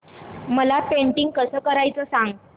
मला पेंटिंग कसं करायचं सांग